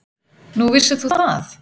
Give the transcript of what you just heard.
Nú, vissir þú það?